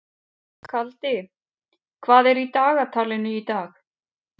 Kaldi, hvað er í dagatalinu í dag?